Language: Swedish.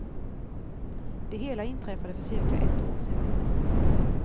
Det hela inträffade för cirka ett år sedan.